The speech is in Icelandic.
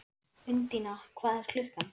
Undína, hvað er klukkan?